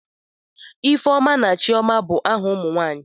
Ifeoma na Chioma bụ aha ụmụ nwanyị.